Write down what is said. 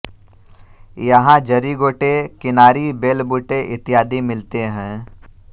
यहाँ जरी गोटे किनारी बेल बूटे इत्यादि मिलते हैं